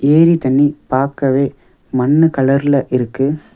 ஏரி தண்ணீ பாக்கவே மண்ணு கலர்ல இருக்கு.